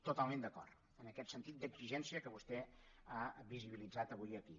totalment d’acord amb aquest sentit d’exigència que vostè ha visibilitzat avui aquí